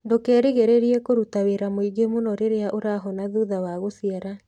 Ndũkerĩgĩrĩrie kũruta wĩra mũingĩ mũno rĩrĩa ũrahona thutha wa gũciara.